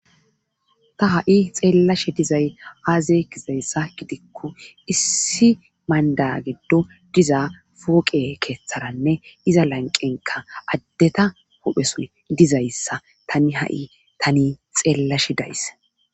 Ta ha7i xeellashe dizay aaze gizayssa gidikko issi mandda giddo diza pooqe keetharanne iza lanqqenkka addera huuphesoy dizayssa tani hayssan ha7i tani xeellashe de7ays.